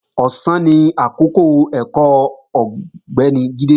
Ọ̀sán ni àkọ́kọ́ ẹ̀kọ́ Ọ̀gbẹ́ni Jídé